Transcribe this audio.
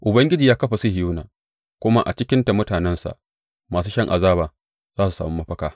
Ubangiji ya kafa Sihiyona, kuma a cikinta mutanensa masu shan azaba za su sami mafaka.